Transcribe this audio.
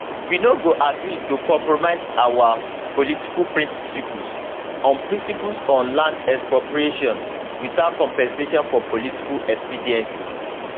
we no go agree to compromise our political principles on principles on land expropriation without compensation for political expediency